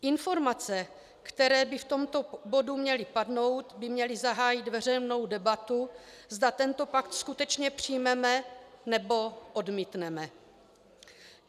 Informace, které by v tomto bodu měly padnout, by měly zahájit veřejnou debatu, zda tento pakt skutečně přijmeme, nebo odmítneme.